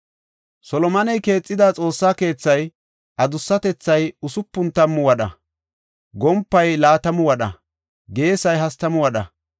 Solomoney keexida Xoossa keethay adussatethay usupun tammu wadha; gompay laatamu wadha; geesay hastamu wadha.